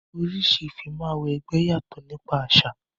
Oríṣi Ìmúw'ẹgbẹ́ yàtò nípa àṣà